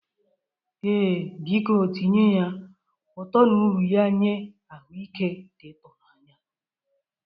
Ee, biko tinye ya. Ụtọ na uru ya nye ahụike dị ịtụ n'anya.